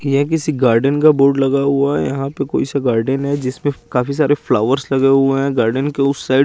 ये किसी गार्डन का बोर्ड लगा हुआ है यहाँ पे कोई सा गार्डन है जिस पे काफी सारे फ्लावर्स लगे हुए है गार्डन के उस साइड --